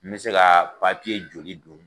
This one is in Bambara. N bɛ se ka joli dun?